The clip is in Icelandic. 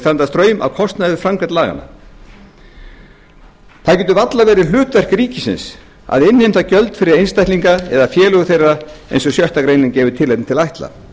standa straum af kostnaði við framkvæmd laganna það getur varla verið hlutverk ríkisins að innheimta gjöld fyrir einstaklinga eða félög þeirra eins og sjöttu grein gefur tilefni til að ætla